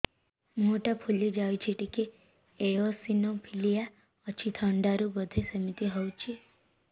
ମୁହଁ ଟା ଫୁଲି ଯାଉଛି ଟିକେ ଏଓସିନୋଫିଲିଆ ଅଛି ଥଣ୍ଡା ରୁ ବଧେ ସିମିତି ହଉଚି